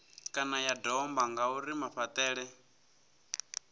kana ya domba ngauri mafhaṱele